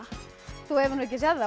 þú hefur nú ekki séð þá